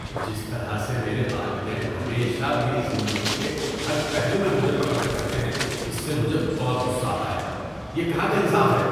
جس طرح سے میرے والدین ہمیشہ میری زندگی کے ہر پہلو میں مجھے پکڑ کر رکھتے ہیں اس سے مجھے بہت غصہ آتا ہے۔ یہ کہاں کا انصاف ہے۔